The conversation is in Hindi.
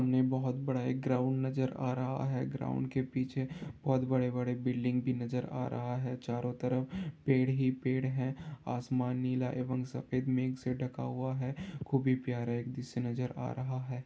हमें बोहोत बड़ा एक ग्राउंड नज़र आ रहा है ग्राउंड के पीछे बोहोत बड़े बड़े बिलडिंग भी नज़र आ रहा है चारों तरफ पेड़ ही पेड़ है आसमान नीला एव म सफ़ेद से ढका हुआ हैप्यारा द्रश्य नज़र आ रहा है ।